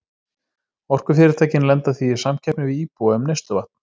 Orkufyrirtækin lenda því í samkeppni við íbúa um neysluvatn.